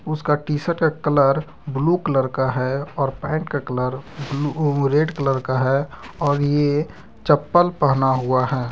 उसका T shirt का colour blue colour का है और पेंट का कलर वो रेड कलर का है और यह चप्पल पहना हुआ है।